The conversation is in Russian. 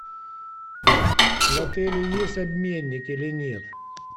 в отеле есть обменник или нет